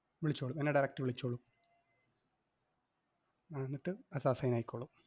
വിളിച്ചോളും എന്നെ direct വിളിച്ചോളും അഹ് എന്നിട്ട് അത് assign ആയിക്കോളും.